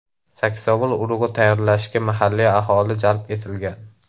Saksovul urug‘i tayyorlashga mahalliy aholi jalb etilgan.